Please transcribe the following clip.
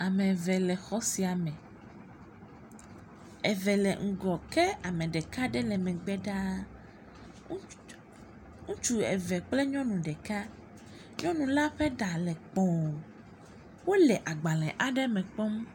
Ameve le xɔ siame, eve le ŋgɔ ke ameɖeka ɖe le megbe ɖaa, ŋutsu eve kple nyɔnu ɖeka, nyɔnu la ƒe ɖa le kpɔ̃, wole agbalẽ aɖe me kpɔm.